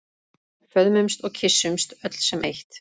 Föðmumst og kyssumst öll sem eitt.